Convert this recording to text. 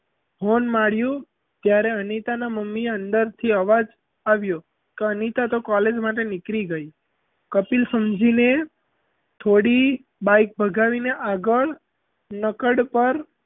horn માર્યું ત્યારે અનિતાનાં મમ્મી અંદરથી અવાજ આવ્યો કે અનિતા તો college માટે નીકળી ગઈ કપિલ સમજીને થોડી bike ભગાવીને આગળ નકડ પર,